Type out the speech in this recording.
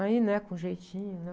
Aí, né, com jeitinho, né?